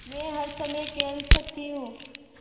मै हर समय खेल सकती हूँ